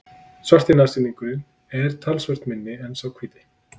Svarti nashyrningurinn er talsvert minni en sá hvíti.